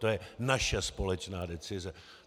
To je naše společná decize.